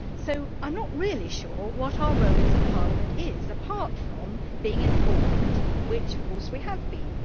So I am not really sure what our role as a Parliament is, apart from being informed, which of course we have been.